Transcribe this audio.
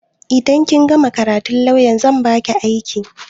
Idan kin gama karatun lawyan zan baki aiki